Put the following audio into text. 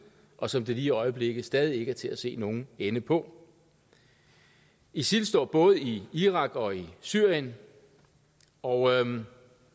og som det lige i øjeblikket stadig ikke er til at se nogen ende på isil står både i irak og i syrien og